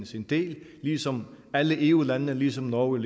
sin del ligesom alle eu landene ligesom norge